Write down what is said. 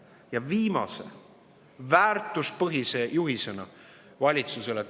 Ja viimane, väärtuspõhine juhis valitsusele.